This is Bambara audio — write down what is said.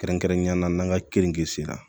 Kɛrɛnkɛrɛnnenya la n'an ka keninge sera